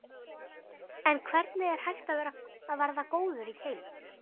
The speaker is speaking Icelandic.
En hvernig er hægt að verða góður í keilu?